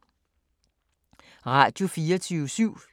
Radio24syv